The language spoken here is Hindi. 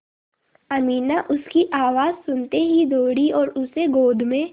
अमीना उसकी आवाज़ सुनते ही दौड़ी और उसे गोद में